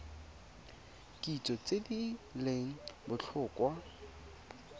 kitso tse di leng botlhokwa